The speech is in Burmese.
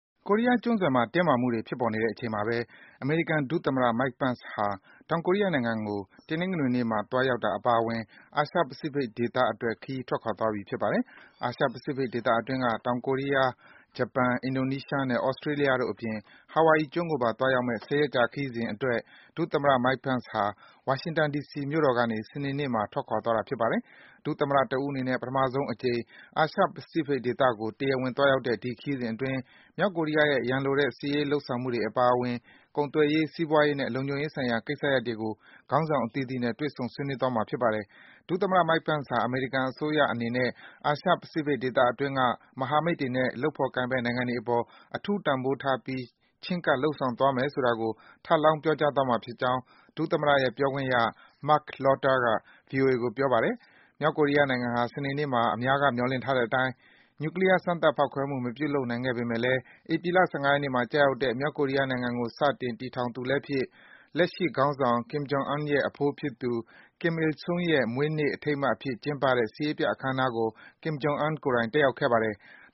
ကိုရီးယား ကျွန်းဆွယ်မှာ တင်းမာမှုတွေ ဖြစ်ပေါ်နေတဲ့အချိန်မှာပဲ အမေရိကန် ဒုသမ္မတ Mike Pence ဟာ တောင်ကိုရီးယားနိုင်ငံကို တနင်္ဂနွေနေ့မှာ သွားရောက်တာ အပါအဝင် အာရှ-ပစိဖိတ်ဒေသကို ခရီးထွက်ခွာသွားပြီ ဖြစ်ပါတယ်။ အာရှ-ပစိဖိတ်ဒေသအတွင်းက တောင်ကိုရီးယား၊ ဂျပန်၊ အင်ဒိုနီးရှားနဲ့Australia တို့အပြင် Hawaii ကျွန်းကိုပါ သွားရောက်မယ့် ၁၀ ရက်ကြာ ခရီးစဉ်အတွက် ဒုသမ္မတ Pence ဟာ ဝါရှင်တန် ဒီစီမြို့ကနေ စနေနေ့မှာ စတင်ထွက်ခွာသွားတာ ဖြစ်ပါတယ်။ ဒုသမ္မတ တဦးအနေနဲ့ ပထမဆုံးအကြိမ် အာရှ-ပစိဖိတ်ဒေသကို တရားဝင် သွားရောက်တဲ့ ဒီခရီးစဉ်အတွင်း မြောက်ကိုရီးယားရဲ့ ရန်လိုတဲ့ စစ်ရေးလုပ်ဆောင်မှုတွေ အပါအဝင်၊ ကုန်သွယ်ရေး၊ စီးပွားရေးနဲ့ လုံခြုံရေးဆိုင်ရာ ကိစ္စရပ်တွေကို ခေါင်းဆောင် အသီးသီးနဲ့ တွေ့ဆုံ ဆွေးနွေးသွားမှာ ဖြစ်ပါတယ်။ ဒုသမ္မတ Pence ဟာ အမေရိကန်အစိုးရ အနေနဲ့ အာရှ-ပစိဖိတ်ဒေသအတွင်းက မဟာမိတ်တွေနဲ့ လုပ်ဖော်ကိုင်ဖက် နိုင်ငံတွေအပေါ် အထူး တန်ဖိုးထားပြီး ချဉ်းကပ် လုပ်ဆောင်သွားမယ်ဆိုတာကို ထပ်လောင်း ပြောကြားသွားမှာ ဖြစ်ကြောင်း ဒုသမ္မတရဲ့ ပြောခွင့်ရ Marc Lotter က ဗွီအိုအေကို ပြောပါတယ်။ မြောက်ကိုရီးယားနိုင်ငံဟာ စနေနေ့မှာ အများက မျှော်လင့်ထားတဲ့အတိုင်း နျူကလီးယား စမ်းသပ် ဖောက်ခွဲမှု မပြုလုပ်ခဲ့ပေမယ့်လည်း ဧပြီလ ၁၅ ရက်နေ့မှာ ကျရောက်တဲ့ မြောက်ကိုရီးယားနိုင်ငံကို စတင်တည်ထောင်သူလည်းဖြစ်၊ လက်ရှိခေါင်းဆောင် Kim Jong Un ရဲ့ အဖိုးဖြစ်သူ Kim Il Sung ရဲ့ မွေးနေ့ အထိမ်းအမှတ်အဖြစ် ကျင်းပတဲ့ စစ်ရေးပြ အခမ်းအနားကို Kim Jong Un ကိုယ်တိုင် တက်ရောက်ခဲ့ပါတယ်။